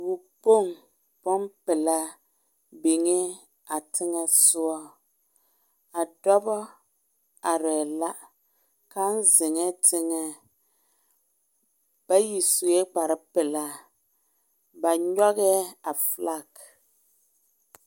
Wokpoŋ bompelaa niŋee a teŋa soɔ a dɔba arɛɛ la kaŋ zeŋ teŋa bayi sue kparre pelaa ba nyɔgerɛɛ a felage